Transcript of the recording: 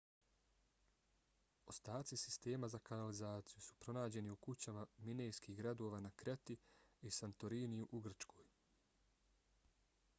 ostaci sistema za kanalizaciju su pronađeni u kućama minejskih gradova na kreti i santoriniju u grčkoj